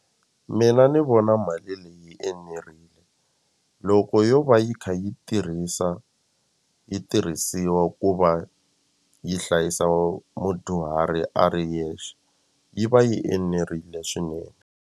Mina ni vona mali leyi yi enerile loko yo va yi kha yi tirhisa yi tirhisiwa ku va yi hlayisa mudyuhari a ri yexe yi va yi enerile swinene.